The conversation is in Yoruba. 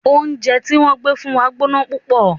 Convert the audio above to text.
Oúnjẹ tí wọ́n gbé fún wa gbóná púpọ̀.